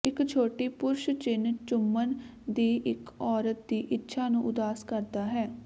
ਇੱਕ ਛੋਟੀ ਪੁਰਸ਼ ਚਿਨ ਚੁੰਮਣ ਦੀ ਇੱਕ ਔਰਤ ਦੀ ਇੱਛਾ ਨੂੰ ਉਦਾਸ ਕਰਦਾ ਹੈ